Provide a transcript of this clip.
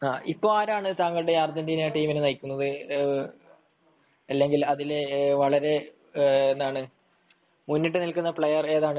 ഇപ്പോൾ ആരാണ് താങ്കളുടെ അർജന്റീന ടീമിനെ നയിക്കുന്നത് അല്ലെങ്കിൽ അതിലെ വളരെ എന്താണ് മുന്നിട്ടു നിൽക്കുന്ന പ്ലയെർ ഏതാണ്